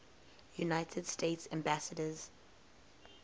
united states ambassadors